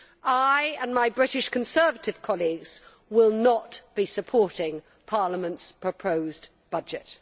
I and my British Conservative colleagues will not be supporting Parliament's proposed budget.